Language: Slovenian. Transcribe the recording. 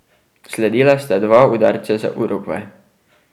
Sledila sta dva udarca za Urugvaj.